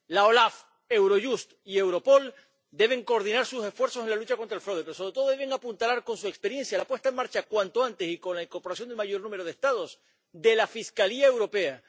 La OLAF, Eurojust y Europol deben coordinar sus esfuerzos en la lucha contra el fraude, pero, sobre todo, deben apuntalar con su experiencia la puesta en marcha, cuanto antes y con la incorporación del mayor número de Estados, de la Fiscalía Europea.